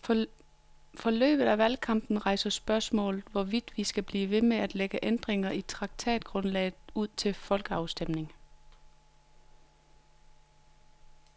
Forløbet af valgkampen rejser spørgsmålet, hvorvidt vi skal blive ved med at lægge ændringer i traktatgrundlaget ud til folkeafstemning.